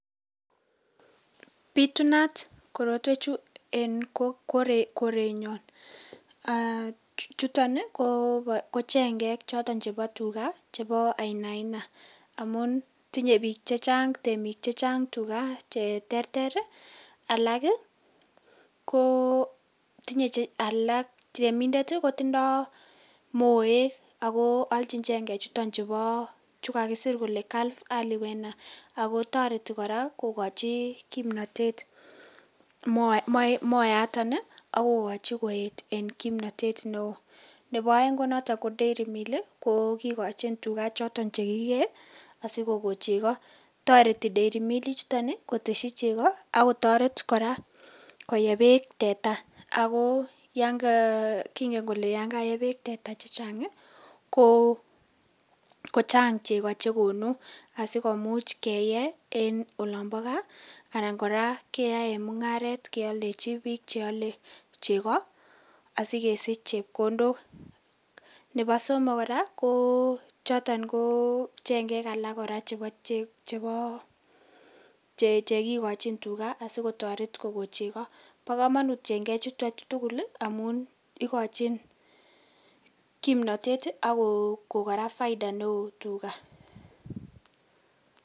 Bitunat korotwech chuu eng koret nyaan aah chutoon ii ko chengeek chebo tugaah chebo ainaina amuun tinyei biik che chaang temiik che chaang tuga che terter alaak ii ko tinye alaak che temindet ii kotindoi moek ako aljiin chengek chutoon chukakisiir kole Calve Ali wenet ago taretii kora kogochi kimnatet moyaa yation ii ako kachi kimnatet ne wooh ,nebo eng ii ko Dairy miill ko kigochiin tugaah chotoon che ki gee asikokoon chekaa taretii Dairy miill ii chutoon ii kotesyii chegaa ako taret kora koyebeek tetaa ako yaan ngaal kingen kele kole yaan kayeet beek teta che chaang Koo chaang chegoo chegonuu asikomuuch keyee en oloon bo gaah anan kora keyaen mungaret keyaldejii biik che ale chegoo ii asikesiich chepkondook, nebo somok kora ko chotoon chengeek alaak kora chebo chekikachiin tugaah asikotaret kogoon chegoo, bo kamanut chengeek chutoon tugul amuun igochiinn kipnatet ii ako kora faida ne wooh tugaa.